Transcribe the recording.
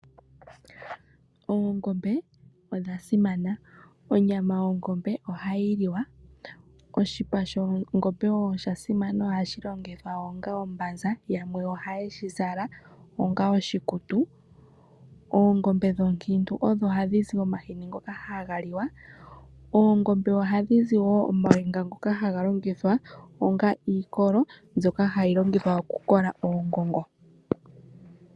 Oongombe odha simana, onyama yongombe ohayi liwa, oshipa shongombe ohashi longitha onga ombanza yamwe ohaye shi zala onga oshikutu, oongombe oonkiintu odho hadhizi omahini ngoka haga liwa, oongombe ohadhi zi woo omawinga ngoka haga longithwa onga iikolo ngoka haga longithwa okukola oongongo.